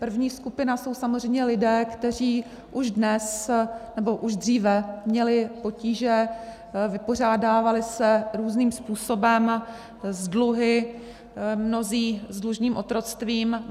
První skupina jsou samozřejmě lidé, kteří už dnes, nebo už dříve měli potíže, vypořádávali se různým způsobem s dluhy, mnozí s dlužním otroctvím.